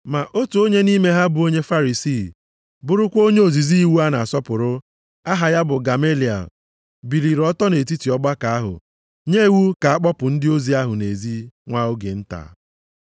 Ma otu onye nʼime ha bụ onye Farisii, bụrụkwa onye ozizi iwu a na-asọpụrụ, aha ya bụ Gamaliel, biliri ọtọ nʼetiti ọgbakọ ahụ, nye iwu ka a kpọpụ ndị ozi ahụ nʼezi nwa oge nta.